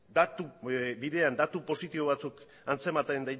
bidean datu positibo batzuk